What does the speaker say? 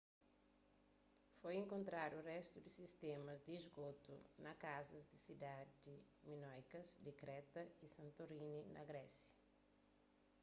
foi enkontradu réstu di sistémas di sgotu na kazas di sidadi minóikas di kreta y santorini na grésia